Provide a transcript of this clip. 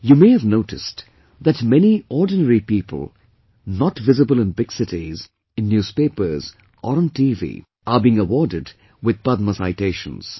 You may have noticed that many ordinary people not visible in big cities, in newspapers or on TV are being awarded with Padma citations